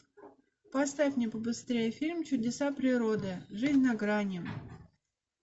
поставь мне побыстрее фильм чудеса природы жизнь на грани